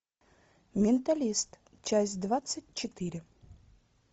менталист часть двадцать четыре